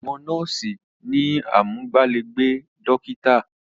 Àwọn nọ́ọ̀sí ni amúgbálẹ́gbẹ̀ẹ́ dọ́kítà.